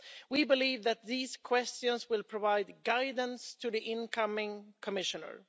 We believe that these questions will provide guidance to the incoming Commissioner.